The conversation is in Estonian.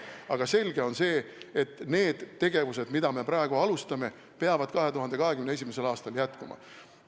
Aga selge on, et need tegevused, mida me praegu alustame, peavad 2021. aastal jätkuma.